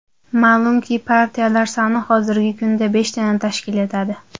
Ma’lumki, partiyalar soni hozirgi kunda beshtani tashkil etadi.